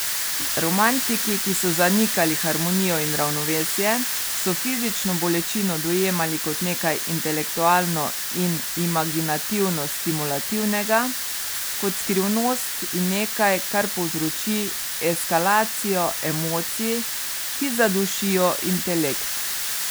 Romantiki, ki so zanikali harmonijo in ravnovesje, so fizično bolečino dojemali kot nekaj intelektualno in imaginativno stimulativnega, kot skrivnost in nekaj, kar povzroči eskalacijo emocij, ki zadušijo intelekt.